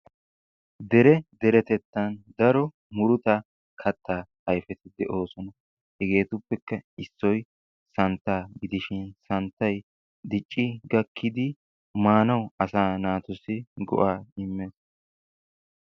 Dere deretettan daro muruta katta ayfeti de'oosona. Hegetuppekka issoy santtaa gidishin santtay dicci gakkidi maanawu asaa naatussi go"a immees.